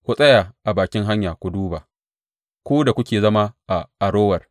Ku tsaya a bakin hanya ku duba, ku da kuke zama a Arower.